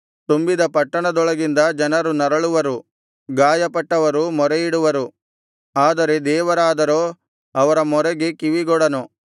ತುಂಬಿದ ಪಟ್ಟಣದೊಳಗಿಂದ ಜನರು ನರಳುವರು ಗಾಯಪಟ್ಟವರು ಮೊರೆಯಿಡುವರು ಆದರೆ ದೇವರಾದರೋ ಅವರ ಮೊರೆಗೆ ಕಿವಿಗೊಡನು